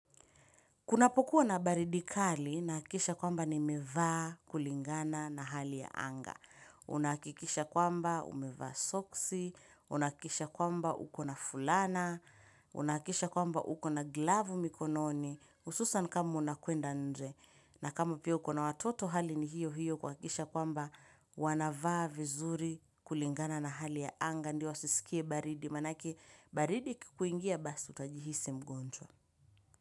Kunapokuwa na baridi kali, nahakikisha kwamba nimevaa kulingana na hali ya anga. Unahakikisha kwamba umevaa soksi, unahakikisha kwamba uko na fulana, unahakikisha kwamba uko na glavu mikononi, hususan kama unakeenda nje. Na kama pia uko na watoto hali ni hiyo hiyo kuhakikisha kwamba wanavaa vizuri kulingana na hali ya anga, ndio wasisikie baridi, manake baridi ikikuingia basi utajihisi mgonjwa.